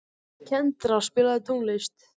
Kendra, spilaðu tónlist.